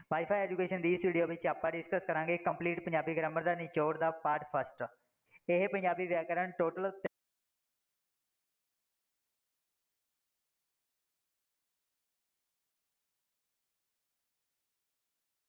wifi education ਵਿੱਚ ਆਪਾਂ discuss ਕਰਾਂਗੇ। complete ਪੰਜਾਬੀ grammar ਦਾ, ਨਿਚੋੜ ਦਾ, ਇਹੇ ਪੰਜਾਬੀ ਵਿਆਕਰਨ total